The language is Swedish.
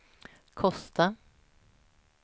Kosta